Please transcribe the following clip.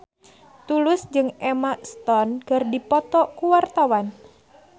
Tulus jeung Emma Stone keur dipoto ku wartawan